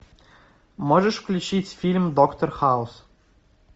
можешь включить фильм доктор хаус